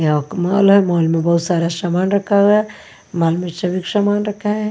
यह एक मॉल है मॉल में बहुत सारा सामान रखा हुआ है मॉल में सभी सामान रखा है।